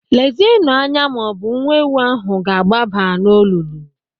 Lezienụ anya ma ọ bụ nwa ewu ahụ ga-agbaba n'olulu.